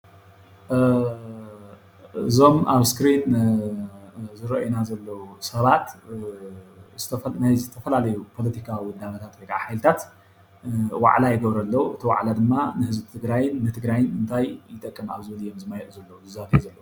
እዞም ኣብ እስክሪን ዝረኦይና ዘለዉ ሰባት ናይ ዝተፈላለዩ ፖለቲካዊ ውዳበታት ወይ ከዓ ሓይልታት ዋዕላ ይገብሩ ኣለዉ፡፡ እቲ ዋዕላ ድማ ንህዝቢ ትግራይን ንትግራይን እንታይን ይጠቅም ኣብ ዝብል እዮም ዝመያየጡ ዘለዉ ይዘተዩ ዘለዉ፡፡